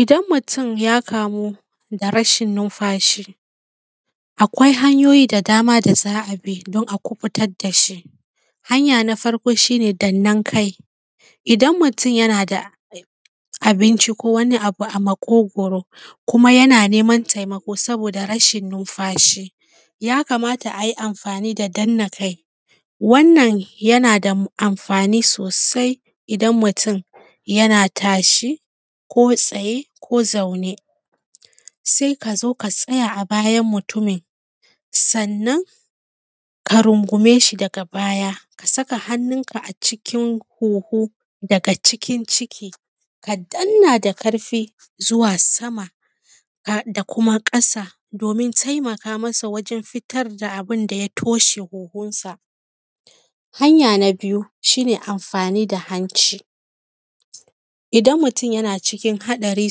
Idan mutum ya kamu da rashin numfashi akwai hanyoyi da dama da za a bi a kuɓutar dashi. Hanya na farko shi ne dannan kai, idan mutum yana da abinci ko wani abu a maƙogaro kuma yana neman taimako saboda rashin numfashi ya kamata ayi amfani da danna kai wannan yana da amfani sosai idan mutum yana tashi ko tsaye, ko zaune sai ka zo ka tsaya a bayan mutumin, sannan ka rungume shi daga baya ka saka hannunka a cikin huhu daga cikin ciki ka danna da ƙarfi zuwa sama da kuma kasa domin taimaka masa wajen fitar da abinda ya toshe huhunsa. Hanya na biyu shi ne amfani da hanci, idan mutum yana cikin haɗari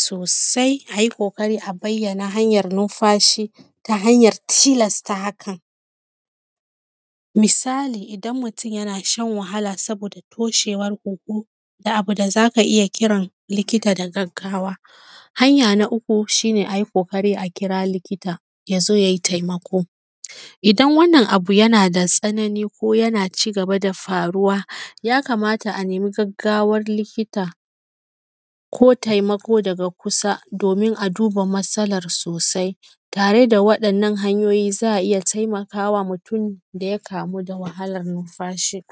sosai ayi ƙoƙari a bayyana hanyar numfashi ta hanyar tilasta hakan. Misali idan mutum yana shan wahala saboda toshewar hunhu da abu da zaka iya kiran likita da gaggawa. Hanya na uku shi ne ayi ƙoƙari a kira likita ya zo ye taimako. Idan wannan abu yana da tsanani ko yana ci gaba da faruwa ya kamata a nemi gaggawan likita ko taimako daga kusa domin a duba masalar sosai tare da wa’innan hanyoyi za a taimakawa mutum daya kamu da wahalar numfashi.